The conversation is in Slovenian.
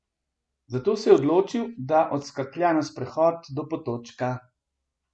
Zato se je odločil, da odskaklja na sprehod do potočka.